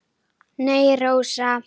Nei, Rósa.